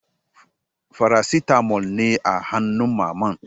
Farasitamol ne a hannun Mamman?